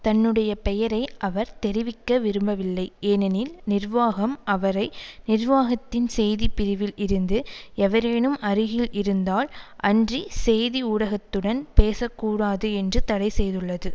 தன்னுடைய பெயரை அவர் தெரிவிக்க விரும்பவில்லை ஏனெனில் நிர்வாகம் அவரை நிர்வாகத்தின் செய்தி பிரிவில் இருந்து எவரேனும் அருகில் இருந்தால் அன்றி செய்தி ஊடகத்துடன் பேசக்கூடாது என்று தடை செய்துள்ளது